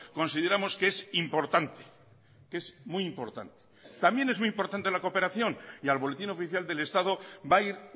consideramos que es importante que es muy importante también es muy importante la cooperación y al boletín oficial del estado va a ir